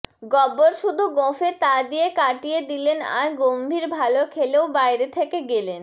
গব্বর শুধু গোঁফে তা দিয়ে কাটিয়ে দিলেন আর গম্ভীর ভালো খেলেও বাইরে থেকে গেলেন